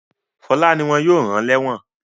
Fọlá ni wọ́n yóò rán lẹ́ẹ́wọ̀n.